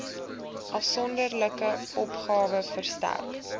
afsonderlike opgawe verstrek